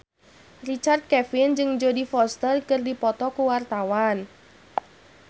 Richard Kevin jeung Jodie Foster keur dipoto ku wartawan